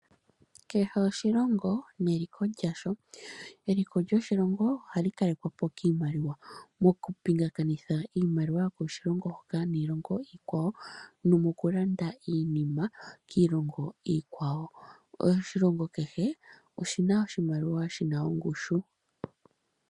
Kehe oshilongo neliko lyasho. Eliko lyoshilongo ohali kalekwapo kiimaliwa . Moku pingakanitha iimaliwa yokoshilongo hoka niilongo iikwawo nomo kulanda iinima kiilonga iikwawo. Oshilongo kehe oshina oshimaliwa shina ongushu.